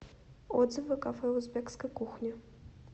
отзывы кафе узбекской кухни